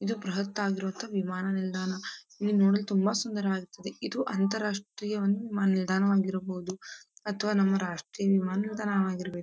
ಇದು ಬೃಹತ್ ಆಗಿರುವಂತಹ ವಿಮಾನ ನಿಲ್ದಾಣ. ಇದು ನೋಡಲು ತುಂಬ ಸುಂದರಾವಾಗಿರುತ್ತದೆ. ಇದು ಅಂತರ್ ರಾಷ್ಟೀಯ ವಿಮಾನ ನಿಲ್ದಾಣ ಆಗಿರಬಹುದು ಅಥವಾ ರಾಷ್ಟೀಯ ವಿಮಾನ ನಿಲ್ದಾಣ ಆಗಿರಬೇಕು.